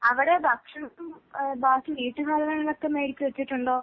അവിടെ ഭക്ഷണം ഏഹ് ബാക്കി വീട്ടുസാധനങ്ങളൊക്കെ മേടിച്ച് വച്ചിട്ടുണ്ടോ?